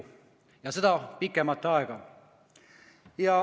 Ja pikemat aega.